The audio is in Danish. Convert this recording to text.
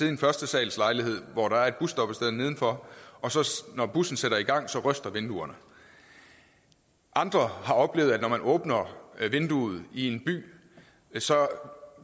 en førstesalslejlighed hvor der er et busstoppested nedenfor og når bussen sætter i gang ryster vinduerne andre har oplevet at når man åbner vinduet i en by